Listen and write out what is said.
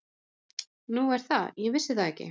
Nú er það, ég vissi það ekki.